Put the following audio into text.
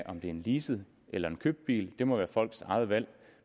om det er en leaset eller en købt bil det må være folks eget valg